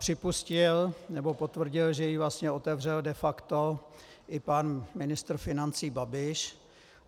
Připustil, nebo potvrdil, že ji vlastně otevřel de facto i pan ministr financí Babiš.